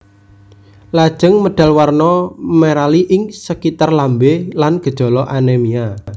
Lajeng medal warna merali ing sekitar lambé lan gejala anémia